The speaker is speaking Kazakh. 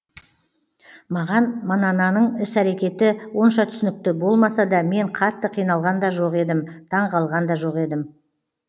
маған манананың іс әрекеті онша түсінікті болмаса да мен қатты қиналған да жоқ едім таңқалған да жоқ едім